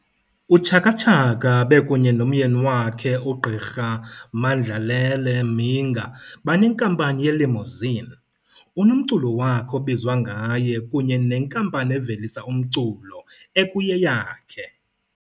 UChaka Chaka bekunye nomyeni wakhe uGq. uMandlalele Mhinga banenkampani yelimousine, unomculo wakhe obizwa ngaye kunye nenkampani evelisa umculo ekuyeyakhe.